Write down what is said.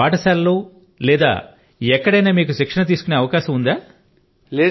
ఒక బడి లో లేదా మరెక్కడైనా మీకు శిక్షణ తీసుకునే అవకాశం ఉందా